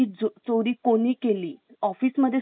office मध्ये सुद्धा हे प्रकार घडतात .